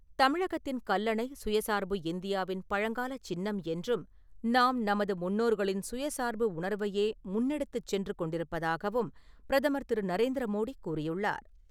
தமிழகத்தின் கல்லணை, சுயசார்பு இந்தியாவின் பழங்காலச் சின்னம் என்றும், நாம் நமது முன்னோர்களின் சுயசார்பு உணர்வையே முன்னெடுத்துச் சென்று கொண்டிருப்பதாகவும் பிரதமர் திரு.நரேந்திர மோடி கூறியுள்ளார்.